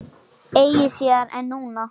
Eigi síðar en núna.